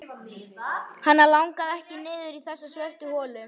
Hana langaði ekki niður í þessa svörtu holu.